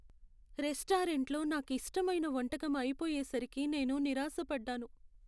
రెస్టారెంట్లో నాకు ఇష్టమైన వంటకం అయిపోయేసరికి నేను నిరాశ పడ్డాను.